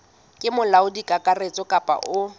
ke molaodi kakaretso kapa o